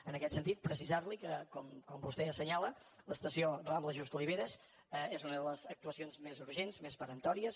en aquest sentit precisar li que com vostè assenyala l’estació rambla just oliveras és una de les actuacions més urgents més peremptòries